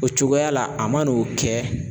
O cogoya la a man n'o kɛ